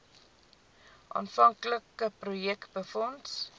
aanvanklike projek befonds